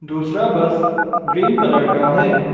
दूसरा bus green colour का है।